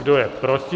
Kdo je proti?